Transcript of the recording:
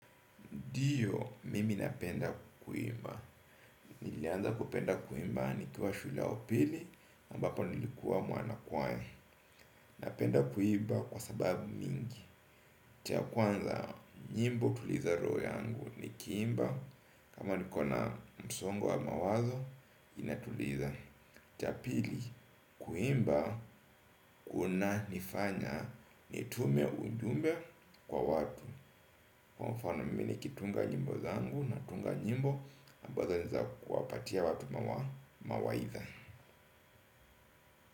Ndiyo, mimi napenda kuimba. Nilianza kupenda kuimba nikiwa shule ya upili, ambapo nilikuwa mwanakwya. Napenda kuimba kwa sababu mingi. Cha kwanza, nyimbo utuliza roo yangu. Nikiimba, kama nikona msongo wa mawazo, inatuliza. Cha pili, kuimba, kunanifanya, nitume ujumbe kwa watu. Kwa mfano mimi nikitunga nyimbo zangu, natunga nyimbo ambazo niza kuwapatia watu mawaidha.